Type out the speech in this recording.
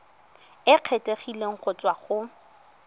e kgethegileng go tswa go